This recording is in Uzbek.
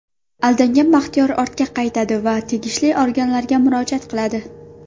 Aldangan Baxtiyor ortga qaytadi va tegishli organlarga murojaat qiladi.